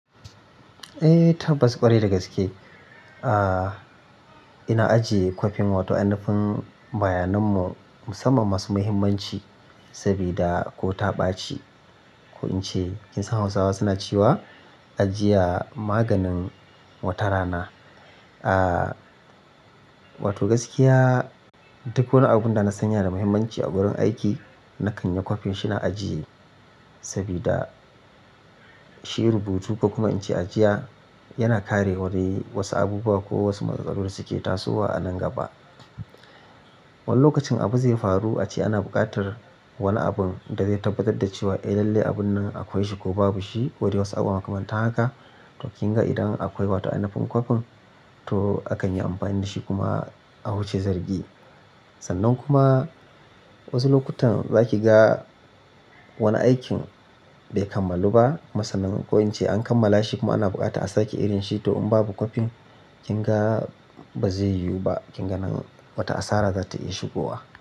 Eh, tabbas ƙwarai da gaske. Ah-- ina ajiye copy'n wato inafin bayanan mu musamman masu muhimmanci sabida ko ta ɓaci ko in ce kinsan Hausawa suna cewa ajiya maganin wata rana. Wato gaskiya duk wani abunda na san yana da muhimmanci a gurin aiki nakan yi copy shine ajiye sabida shi rubutu ko kuma in ce ajiya yana kare wani wasu abubuwa ko wasu matsal-tsalu da suke tasowa a nan gaba. Wani lokacin abu zai faru ace ana buƙatar wani abun da zai tabbatar da cewa eh lalle abun nan akwai shi ko babu shi ko de wasu abu makamanta haka. To kinga idan akwai wato inafin copy'n to akan yi amfani da shi kuma a wuce zargi. Sannan kuma wasu lokutan zaki ga wani aikin bai kammalu ba kuma sanan, ko in ce an kammala shi kuma ana bukata a sake irin shi to in babu copy'n kinga-- ba zai yiwu ba, kinga nan wata asara za ta iya shigowa.